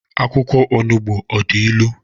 Akwụkwọ onugbu ọ dị ilu?